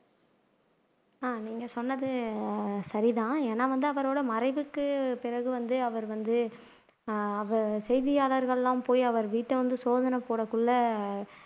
ஆஹ் நீங்க சொன்னது சரிதான் ஏன்னா வந்து அவரோட மறைவுக்கு பிறகு வந்து அவர் வந்து செய்தியாளர்கள் எல்லாம் போய் அவர் வீட்டைவந்து சோதனை போடறதுக்குள்ள